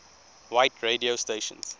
white radio stations